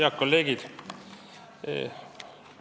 Head kolleegid!